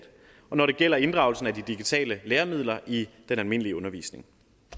og når det gælder inddragelsen af de digitale læremidler i den almindelige undervisning